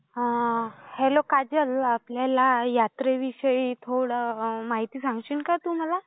Hello Kajal, आपल्या या यात्रेविषयी, थोडी माहिती सांगशील का तू मला?